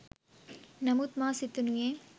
නමුත් මා සිතනුයේ